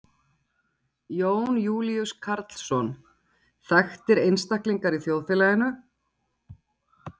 Jón Júlíus Karlsson: Þekktir einstaklingar í þjóðfélaginu?